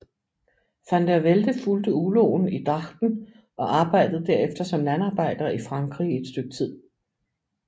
Van der Velde fulgte uloen i Drachten og arbejdede derefter som landarbejder i Frankrig i et stykke tid